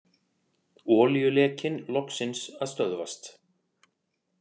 Olíulekinn loksins að stöðvast